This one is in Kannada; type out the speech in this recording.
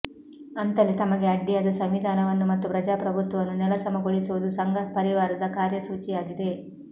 ಅಂತಲೇ ತಮಗೆ ಅಡ್ಡಿಯಾದ ಸಂವಿಧಾನವನ್ನು ಮತ್ತು ಪ್ರಜಾಪ್ರಭುತ್ವವನ್ನು ನೆಲಸಮಗೊಳಿಸುವುದು ಸಂಘ ಪರಿವಾರದ ಕಾರ್ಯಸೂಚಿಯಾಗಿದೆ